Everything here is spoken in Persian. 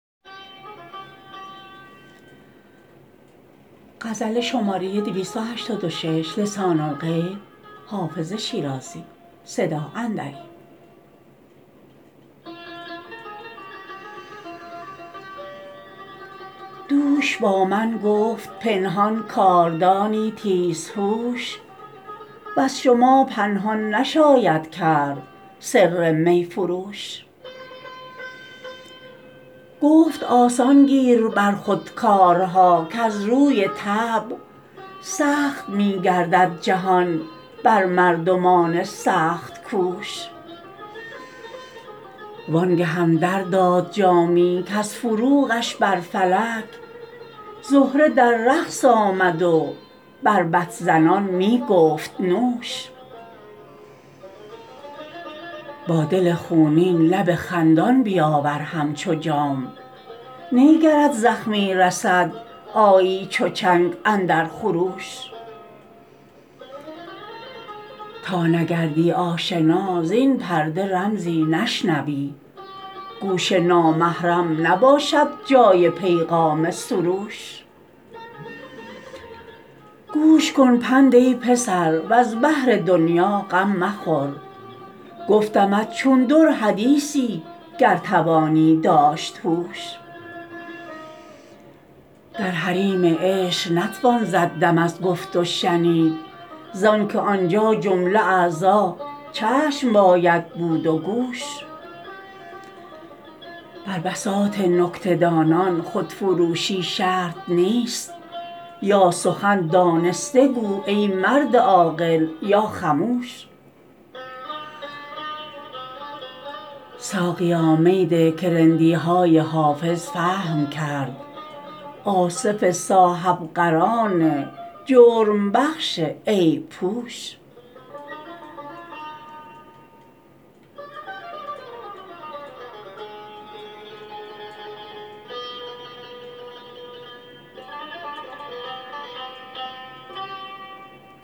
دوش با من گفت پنهان کاردانی تیزهوش وز شما پنهان نشاید کرد سر می فروش گفت آسان گیر بر خود کارها کز روی طبع سخت می گردد جهان بر مردمان سخت کوش وان گهم در داد جامی کز فروغش بر فلک زهره در رقص آمد و بربط زنان می گفت نوش با دل خونین لب خندان بیاور همچو جام نی گرت زخمی رسد آیی چو چنگ اندر خروش تا نگردی آشنا زین پرده رمزی نشنوی گوش نامحرم نباشد جای پیغام سروش گوش کن پند ای پسر وز بهر دنیا غم مخور گفتمت چون در حدیثی گر توانی داشت هوش در حریم عشق نتوان زد دم از گفت و شنید زان که آنجا جمله اعضا چشم باید بود و گوش بر بساط نکته دانان خودفروشی شرط نیست یا سخن دانسته گو ای مرد عاقل یا خموش ساقیا می ده که رندی های حافظ فهم کرد آصف صاحب قران جرم بخش عیب پوش